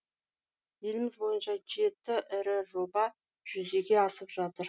еліміз бойынша жеті ірі жоба жүзеге асып жатыр